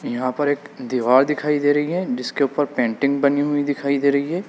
यहां पर एक दीवार दिखाई दे रही है जिसके ऊपर पेंटिंग बनी हुई दिखाई दे रही है।